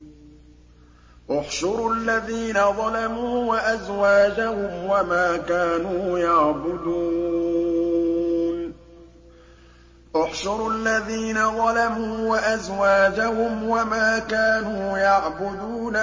۞ احْشُرُوا الَّذِينَ ظَلَمُوا وَأَزْوَاجَهُمْ وَمَا كَانُوا يَعْبُدُونَ